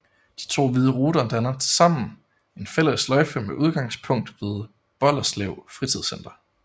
De to hvide ruter danner tilsammen en fælles sløjfe med udgangspunkt ved Bolderslev Fritidscenter